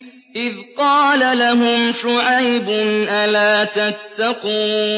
إِذْ قَالَ لَهُمْ شُعَيْبٌ أَلَا تَتَّقُونَ